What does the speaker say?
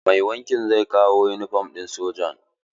Mai wankin zai kawo yunifom ɗin sojan.